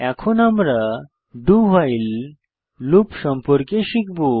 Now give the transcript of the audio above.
এখন আমরা do while loop সম্পর্কে শিখব